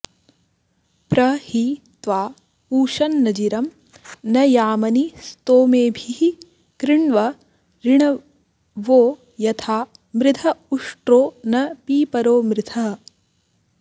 प्र हि त्वा पूषन्नजिरं न यामनि स्तोमेभिः कृण्व ऋणवो यथा मृध उष्ट्रो न पीपरो मृधः